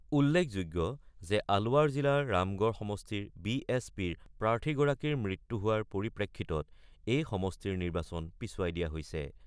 উল্লেখযোগ্য যে আলোৱাৰ জিলাৰ ৰামগড় সমষ্টিৰ বি এছ পিৰ প্ৰাৰ্থীগৰাকীৰ মৃত্যু হোৱাৰ পৰিপ্ৰেক্ষিতত এই সমষ্টিৰ নিৰ্বাচন পিছুৱাই দিয়া হৈছে।